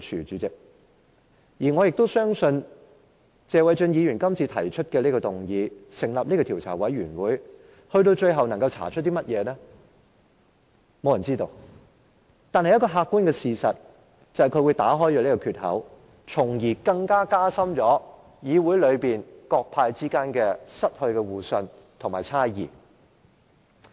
主席，對於謝偉俊議員今次提出的議案，繼而成立的調查委員會最後可以查出甚麼，我相信沒有人知道，但有一個客觀的事實，就是他會打開一個缺口，加深議會內各黨派間的猜疑，令大家失去互信。